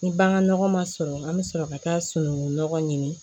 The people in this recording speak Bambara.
Ni bagan nɔgɔ ma sɔrɔ an bɛ sɔrɔ ka taa sunukun nɔgɔ ɲini